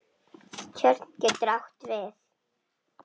Tjörn getur átt við